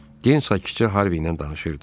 Den sakitcə Harvey ilə danışırdı.